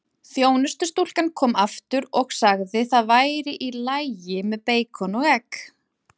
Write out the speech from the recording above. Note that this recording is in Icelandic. Þjónustustúlkan kom aftur og sagði það væri í lagi með beikon og egg.